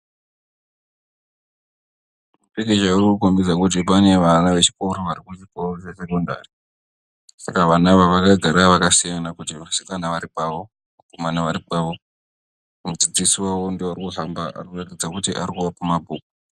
Mupikicha urikukombidza kuti pane vana vari kuchikoro vari kuchikoro chesekondari. Saka vana ava vakagara vakasiyana kuti vasikana vari pavo, vakomana vari pavo. Mudzidzisi wavo ndiye arikufamba, arikuratidza kuti arikuvapa mabhuku.